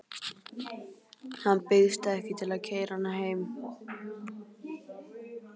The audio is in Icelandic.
Hann býðst ekki til að keyra hana heim.